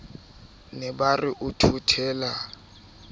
ne ba re o thothela